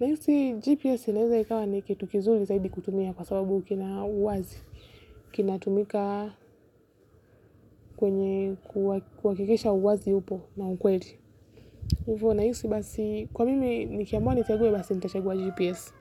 nahisi GPS inaweza ikawa ni kitu kizuri zaidi kutumia kwa sababu kina uwazi kinatumika kwenye kuhakikisha uwazi upo na ukweli hivyo nahisi basi kwa mimi nikiamua nichague basi nitachagua GPS.